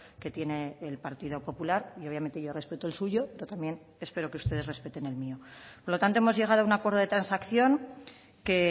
que tiene el partido popular y obviamente yo respeto el suyo pero también espero que ustedes respeten el mío por lo tanto hemos llegado a un acuerdo de transacción que